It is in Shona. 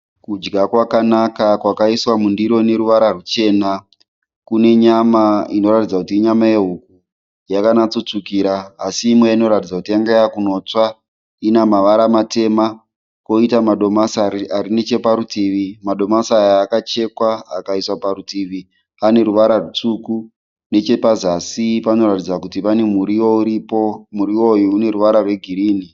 Kudya kwakanaka kwakaiswa mundiro ine ruvara ruchena. Kune nyama inoratidza kuti inyama yehuku yakanatso tsvukira asi imwe inoratidza kuti yange yakundotsva ine mavara matema. Koita madomasi ari necheparutivi. Madomasi akachekwa akaiswa parutivi ane ruvara rutsvuku. Nechepazasi pane muriwo uripo muriwo uyu une ruvara rwegieinhi.